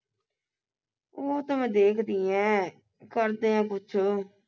ਓ ਤਾਂ ਮੈਂ ਦੇਖਦੀ ਈ ਐ ਕਰਦੇ ਆ ਕੁਛ